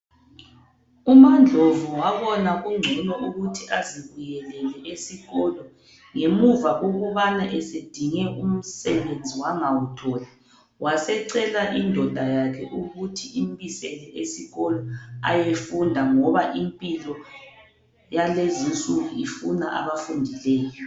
UmaNdlovu wabona kugcono ukuthi azibuyelele esikolo ngemuva ukubana esedinge umsebenzi wangawutholi wasecela indoda yakhe ukuthi imbisele esikolo ayefunda ngoba impilo yalezi insuku ifuna abafundileyo.